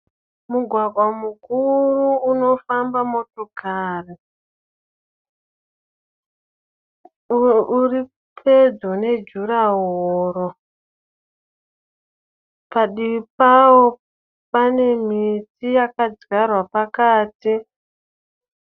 Mugwagwa mukuru unofamba motokari. Uripedyo nejurahoro. Padivi pavo pane miti yakadyarwa pakati.